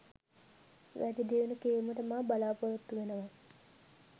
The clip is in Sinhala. වැඩිදියුණු කිරීමට මා බලාපොරොත්තු වෙනවා.